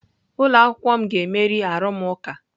Ụlọ akwụkwọ m ga-emeri arụmụka.